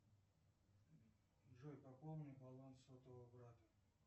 джой пополни баланс сотового брата